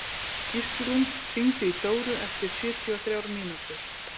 Gíslrún, hringdu í Dóru eftir sjötíu og þrjár mínútur.